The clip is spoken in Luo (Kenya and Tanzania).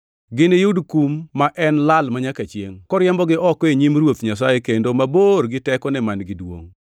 Giniyud kum ma en lal manyaka chiengʼ, koriembogi oko e nyim Ruoth Nyasaye kendo mabor gi tekone man-gi duongʼ.